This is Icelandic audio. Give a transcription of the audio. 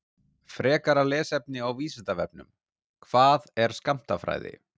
Frekara lesefni á Vísindavefnum: Hvað er skammtafræði?